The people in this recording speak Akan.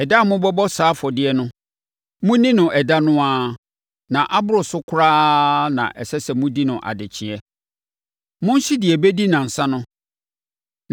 Ɛda a mobɛbɔ saa afɔdeɛ no, monni no ɛda no ara, na aboro so koraa na ɛsɛ sɛ modi no adekyeeɛ. Monhye deɛ ɛbɛdi nnansa no.